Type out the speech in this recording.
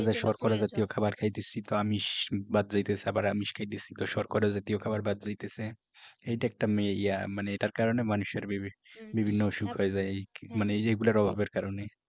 শর্করা জাতীয় খাবার খাইতেছি তো আমিষ বাদ যাইতেছে আবার আমিষ খাইতেছি তো শর্করা জাতীয় খাবার বাদ যাইতেছে এইটা একটা মে ইয়া মানে এটার কারণে মানুষের বিভি বিভিন্ন অসুখ হইয়া যায় মানে এইগুলার অভাবের কারণে